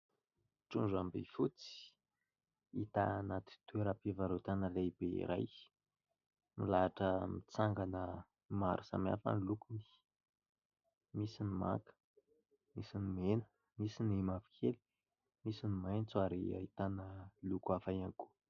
Trondro ambifotsy hita anaty toeram-pivarotana lehibe iray. Milahatra mitsangana maro samihafa ny lokony, misy ny manga, misy ny mena, misy ny mavokely, misy ny maitso ary ahitana loko hafa ihany koa.